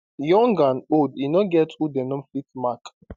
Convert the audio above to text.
young and old e no get who dem no fit mark